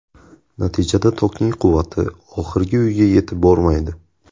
Natijada tokning quvvati oxirgi uyga yetib bormaydi.